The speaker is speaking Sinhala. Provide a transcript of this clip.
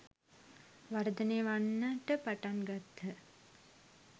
වර්ධනය වන්නට පටන් ගත්හ.